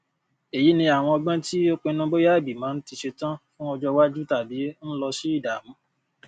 èyí ni àwọn ọgbọn tí ó pínnu bóya ìgbìmọ ti ṣetọn fún ọjọ ìwájú tàbí ń lọ sí ìdààmú